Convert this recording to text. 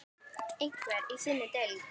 Einhver í þinni deild?